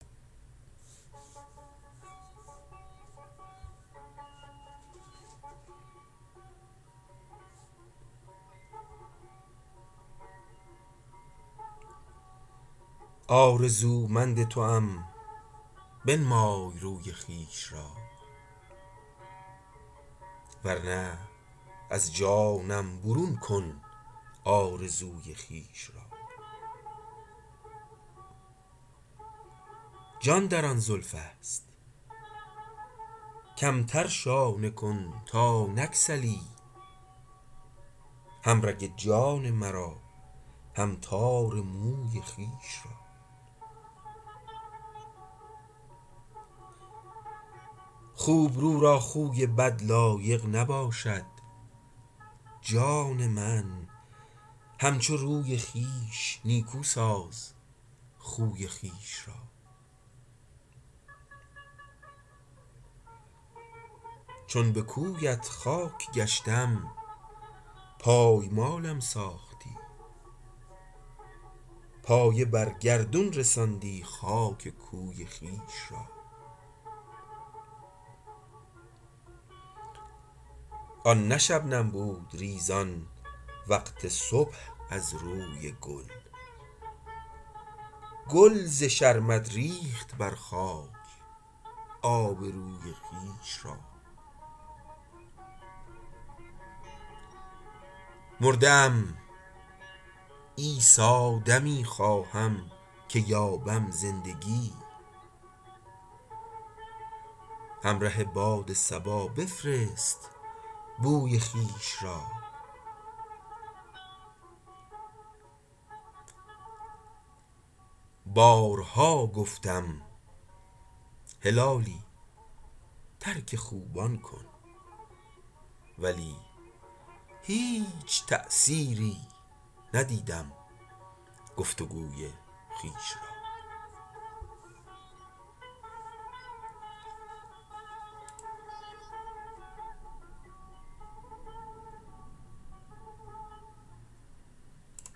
آرزومند توام بنمای روی خویش را ور نه از جانم برون کن آرزوی خویش را جان در آن زلفست کمتر شانه کن تا نگسلی هم رگ جان مرا هم تار موی خویش را خوبرو را خوی بد لایق نباشد جان من همچو روی خویش نیکو ساز خوی خویش را چون بکویت خاک گشتم پایمالم ساختی پایه بر گردون رساندی خاک کوی خویش را آن نه شبنم بود ریزان وقت صبح از روی گل گل ز شرمت ریخت بر خاک آبروی خویش را مرده ام عیسی دمی خواهم که یابم زندگی همره باد صبا بفرست بوی خویش را بارها گفتم هلالی ترک خوبان کن ولی هیچ تأثیری ندیدم گفتگوی خویش را